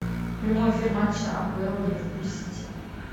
прямой эфир матча апл ливерпуль сити